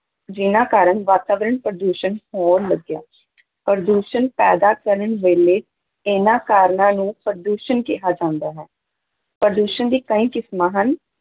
ਜਿਹਨਾਂ ਕਾਰਨ ਵਾਤਾਵਰਨ ਪ੍ਰਦੂਸ਼ਣ ਹੋਣ ਲੱਗਿਆ ਪ੍ਰਦੂਸ਼ਣ ਪੈਦਾ ਕਰਨ ਵੇਲੇ ਇਹਨਾਂ ਕਾਰਨਾਂ ਨੂੰ ਪ੍ਰਦੂਸ਼ਨ ਕਿਹਾ ਜਾਂਦਾ ਹੈ, ਪ੍ਰਦੂਸ਼ਣ ਦੀ ਕਈ ਕਿਸਮਾਂ ਹਨ।